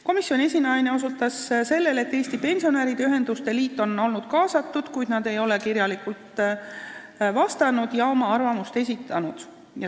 Komisjoni esinaine osutas sellele, et Eesti Pensionäride Ühenduste Liit on olnud kaasatud, kuid nad ei ole kirjalikult vastanud ega oma arvamust esitanud.